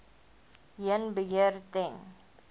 heen beheer ten